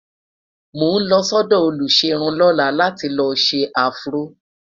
mọ n ló sọdọ oluserun lọla là tí ló ṣé afro